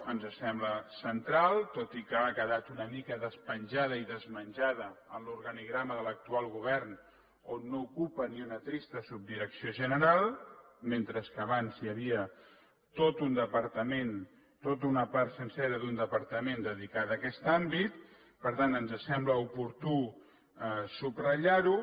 ens sembla central tot i que ara ha quedat una mica despenjada i desmenjada en l’organigrama de l’actual govern on no ocupa ni una trista subdirecció general mentre que abans hi havia tot un departament tota una part sencera d’un departament dedicada a aquest àmbit per tant ens sembla oportú subratllar ho